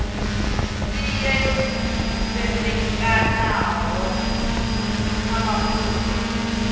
sia yo ḓisendekaho kha mafhungo